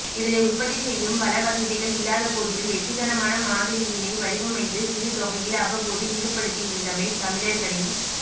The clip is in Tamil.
இதனை உற்பத்திசெய்யும் வளவசதிகள் இல்லாதபோதிலும் வெற்றிகரமான மாதிரியினை வடிவமைத்து சிறு தொகையில் அவ்வப்போது ஈடுபடுத்தியிருந்தமை தமிழர்களின்